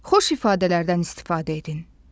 Xoş ifadələrdən istifadə edin.